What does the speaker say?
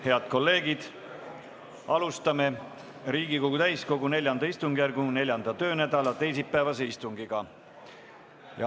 Head kolleegid, alustame Riigikogu täiskogu IV istungjärgu 4. töönädala teisipäevast istungit.